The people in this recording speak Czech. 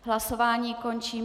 Hlasování končím.